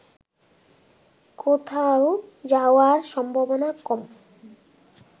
কোথাও যাওয়ার সম্ভাবনা কম